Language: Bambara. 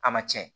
A ma tiɲɛ